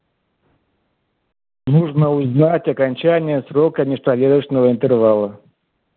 нужно узнать окончание срока межповерочного интервала